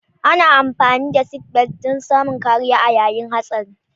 Ana amfani da sitbelt dan samun kariya a yayin hatsari